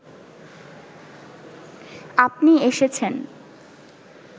আপনি এসেছেন